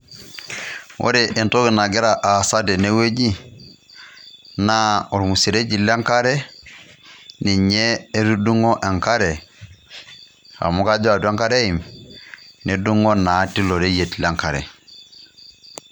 Ore entoki nagira aasa tene wueji naa ormuseregi lenkare ninye etudung'o enk'are amu kajo atwa enk'are eim nedungo naa teilo reyiet lenk'are.